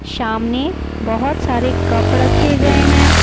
शामने बहुत सारे कप ड़खे के गए हैं।